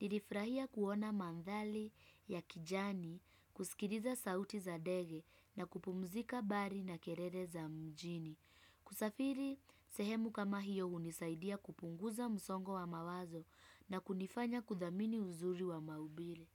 Nilifurahia kuona mandhari ya kijani, kusikiliza sauti za ndege na kupumzika mbali na kelele za mjini. Kusafiri, sehemu kama hiyo hunisaidia kupunguza msongo wa mawazo na kunifanya kudhamini uzuri wa maumbile.